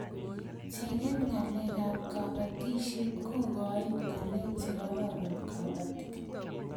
che ng'en ngalek ab kabatishiet koigain ngalek che kararan kabatik